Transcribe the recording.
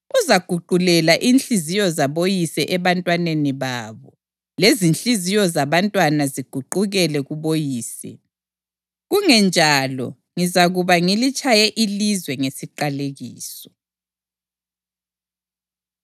Uzaguqulela inhliziyo zaboyise ebantwaneni babo, lezinhliziyo zabantwana ziguqukele kuboyise; kungenjalo ngizakuza ngilitshaye ilizwe ngesiqalekiso.”